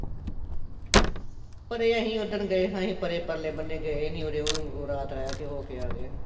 ਪਰੇ ਅਸੀਂ ਉਦਣ ਗਏ ਸਾ ਅਸੀਂ ਪਰੇ ਪਰਲੇ ਬੰਨੇ ਗਏ ਨੀ ਉਰਿਓ ਈ ਰਾਤ ਰਹਿ ਕੇ ਹੋਕੇ ਆ ਗਏ ਸਾਂ